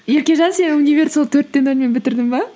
еркежан сен универді сол төрт те нөлмен бітірдің бе